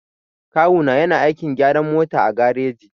Kawu na yana aikin gyaran mota a gareji.